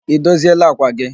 Ị dozieela àkwà gị?